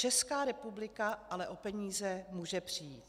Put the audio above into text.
Česká republika ale o peníze může přijít.